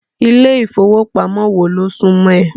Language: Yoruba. Ilé ìfowópamọ́ wo ló súmọ́ ẹ?